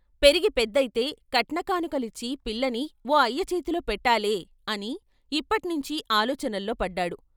పెరిగి పెద్దయితే కట్న కానుకలిచ్చి పిల్లని ఓ అయ్య చేతిలో పెట్టాలే అని ఇప్పట్నించి ఆలోచనల్లో పడ్డాడు.